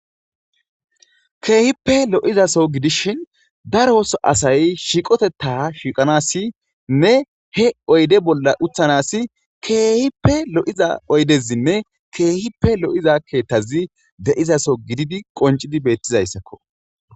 Keehippe lo'izaso gidishin daro so asay shiqotetta shiiqanasinne he oyde bolla uthanas keehippe lo'iza oydezinne keehippe lo'iza keettazi de'izaso gididi qoncidi beettizayssakko